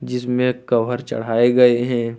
जिसमें कवर चढ़ाए गए हैं।